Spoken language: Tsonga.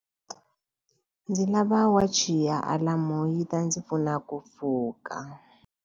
Ndzi lava wachi ya alamu yi ta ndzi pfuna ku pfuka.